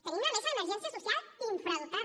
tenim la mesa d’emergència social infradotada